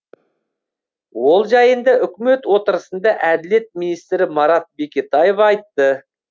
ол жайында үкімет отырысында әділет министрі марат бекетаев айтты